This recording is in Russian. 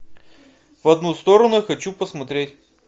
в одну сторону хочу посмотреть